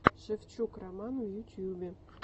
шевчук роман в ютубе